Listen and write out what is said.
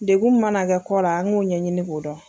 Degun min mana kɛ kɔla, an k'o ɲɛɲini k'o dɔn.